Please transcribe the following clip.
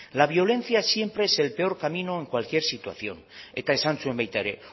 la violencia siempre es el peor camino en cualquier situación eta esan zuen baita ere